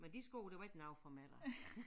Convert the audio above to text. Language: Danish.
Men de sko de var ikke noget for mig da